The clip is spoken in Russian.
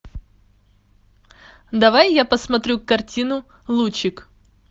давай я посмотрю картину лучик